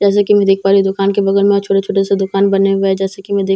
जैसे की मैं देख पा रही हूँ दुकान के बगल में और छोटे-छोटे से दुकान बने हुए हैं जैसे की मैं देख पा --